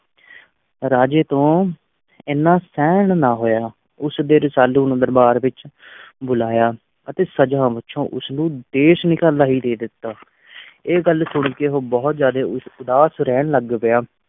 ਰਾਜੇ ਤੋਂ ਇੰਨਾ ਸਹਿਣ ਨਾ ਹੋਇਆ, ਉਸ ਦੇ ਰਸਾਲੂ ਨੂੰ ਦਰਬਾਰ ਵਿੱਚ ਬੁਲਾਇਆ ਅਤੇ ਸਜ਼ਾ ਵਜੋਂ ਉਸ ਨੂੰ ਦੇਸ-ਨਿਕਾਲਾ ਹੀ ਦੇ ਦਿੱਤਾ ਇਹ ਗੱਲ ਸੁਣਕੇ ਉਹ ਬਹੁਤ ਜ਼ਿਆਦੇ ਉ ਉਦਾਸ ਰਹਿਣ ਰਹਿਣ ਲੱਗ ਗਿਆ।